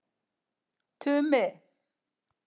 Tumi